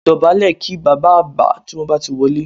Dọ̀bálẹ̀ kí bàbá àgbà tí wọ́n bá ti wọlé